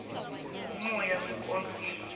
ummoya wekondlo le